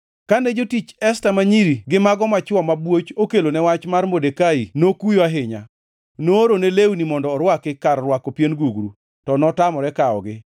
Kane jotich Esta ma nyiri gi mago machwo mabwoch okelone wach mar Modekai nokuyo ahinya. Noorone lewni mondo orwaki kar rwako pien gugru, to notamore kawogi.